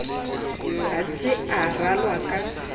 ha se a ralwa ka